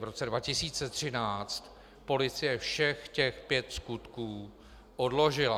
V roce 2013 policie všech těch pět skutků odložila.